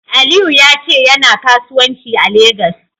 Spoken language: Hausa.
Aliyu ya ce yana kasuwanci a Legas.